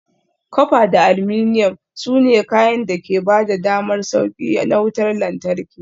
Copper da aluminum, su ne kayan da ke ba da damar sauƙi na wutar lantarki.